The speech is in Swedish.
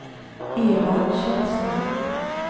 Evald Källström